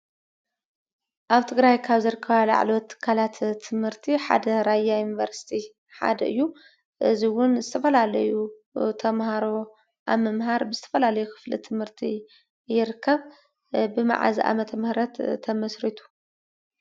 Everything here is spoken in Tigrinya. ኣብ ትግራይ ካብ ዝርከባ ላዕለዎት ትካላት ትምህርቲ ሓደ ራያ ዩኒቨርስቲ ሓደ እዩ። እዙይ እዉን ዝተፈላለዩ ተማሃሮ ኣብ ምምሃር ብዝተፈላለዩ ኽፍለ ትምህርቲ ይርከብ ብ መዓዝ ዓመተ ምህረት ተመስሪቱ?